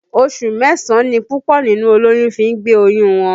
Oṣù mẹ́sàn-án ni púpọ̀ nínú olóyún fi ń gbé oyún wọn